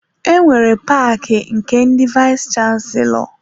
Enwere paki nke ndị vayis chansilọ.